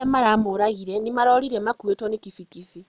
Arĩa maramũragire nĩmarorire makũĩtwo nĩ kibikibi